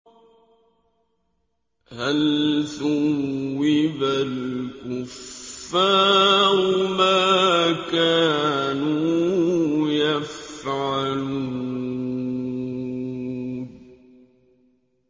هَلْ ثُوِّبَ الْكُفَّارُ مَا كَانُوا يَفْعَلُونَ